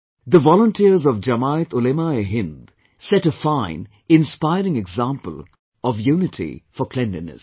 The volunteers of JamiatUlemaeHindset a fine, inspiring example of unity for cleanliness